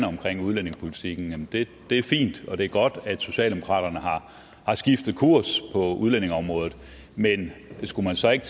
omkring udlændingepolitikken det er fint og det er godt at socialdemokratiet har skiftet kurs på udlændingeområdet men skulle man så ikke